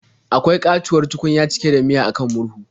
Akwai ƙatuwar tukunya cike da miya a kan murhun.